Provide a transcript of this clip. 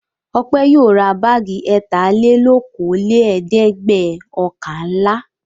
Ọpẹ́ yóò ra báágì ẹ̀tàlelókòólẹ́ẹ̀dẹ́gbẹ̀ọ̀kànlá.